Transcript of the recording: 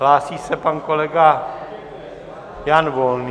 Hlásí se pan kolega Jan Volný.